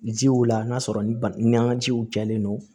Jiw la n'a sɔrɔ ni an ka jiw jalen don